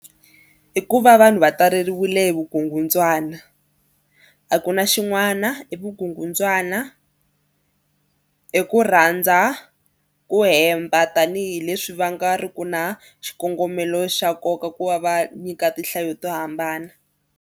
I ku va vanhu va taleriwile hi vukungundzwana. A ku na xin'wana i vukungundzwana. I ku rhandza ku hemba tanihileswi va nga ri ku na xikongomelo xa nkoka ku va va nyika tinhlayo to hambana.